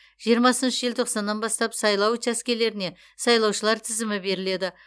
жиырмасыншы желтоқсаннан бастап сайлау учаскелеріне сайлаушылар тізімі беріледі